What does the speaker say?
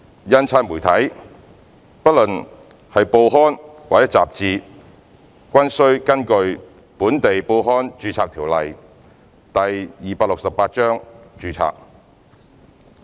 印刷媒體不論是報刊或雜誌均須根據《本地報刊註冊條例》註冊。